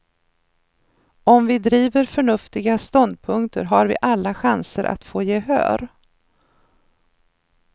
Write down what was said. Om vi driver förnuftiga ståndpunkter har vi alla chanser att få gehör.